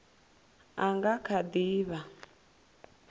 a nga kha di vha